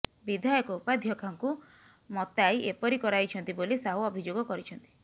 ବିଧାୟକ ଉପାଧ୍ୟକ୍ଷାଙ୍କୁ ମତାଇ ଏପରି କରାଇଛନ୍ତି ବୋଲି ସାହୁ ଅଭିଯୋଗ କରିଛନ୍ତି